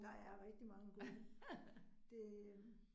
Der er rigtig mange gode. Det øh